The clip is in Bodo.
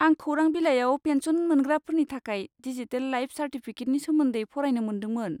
आं खौरां बिलाइआव पेनसन मोनग्राफोरनि थाखाय दिजिटेल लाइफ चार्टिफिकेटनि सोमोन्दै फरायनो मोन्दोंमोन।